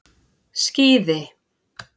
Skíði